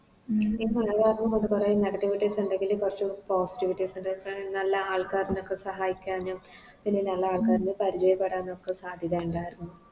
ഇപ്പൊ എല്ലാര് കൊണ്ട് കൊർച്ച് Negativites ഇണ്ടെങ്കില് കൊർച്ച് Positivites ഇണ്ട് ഡിഫർ നല്ല ആൾക്കാരിനൊക്കെ സഹായിക്കാനും പിന്നെ നല്ല ആൾക്കരിനെ പരിചയപ്പെടാനൊക്കെ സാധ്യത ഇണ്ടാരുന്നു